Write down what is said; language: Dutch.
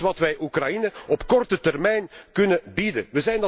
Dat is wat wij Oekraïne op korte termijn kunnen bieden.